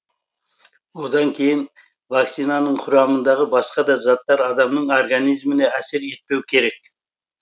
одан кейін вакцинаның құрамындағы басқа да заттар адамның организміне әсер етпеу керек